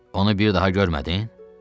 Onu bir daha görmədin?